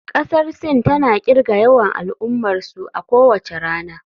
Kasar Sin tana kirga yawan al'ummarsu a kowace rana.